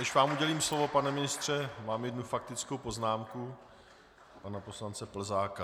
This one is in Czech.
Než vám udělím slovo, pane ministře, mám jednu faktickou poznámku pana poslance Plzáka.